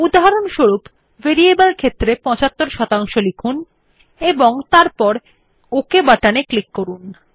উদাহরণস্বরূপ ভ্যারাইবল ক্ষেত্রের 75 লিখুন এবং তারপর ওক বাটনে ক্লিক করুন